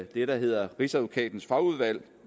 det der hedder rigsadvokatens fagudvalg